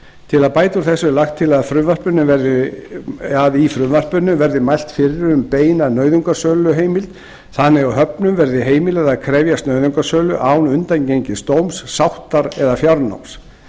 til að bæta úr þessu er lagt til að í frumvarpinu verði mælt fyrir um beina nauðungarsöluheimild þannig að höfnum verði heimilað að krefjast nauðungarsölu án undangengins dóms sáttar eða fjárnáms